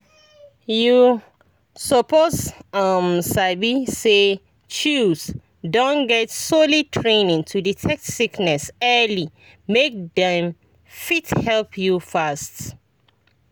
you suppose um sabi say chws don get solid training to detect sickness early make dem fit help you fast.